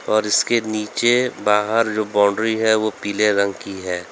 और इसके नीचे बाहर जो बाउंड्री है वो पीले रंग की है।